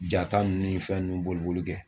Ja ta ninnu ni fɛn ninnu boli boli kɛ